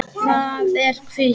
Það er hvítt.